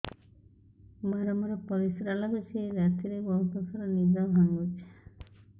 ବାରମ୍ବାର ପରିଶ୍ରା ଲାଗୁଚି ରାତିରେ ବହୁତ ଥର ନିଦ ଭାଙ୍ଗୁଛି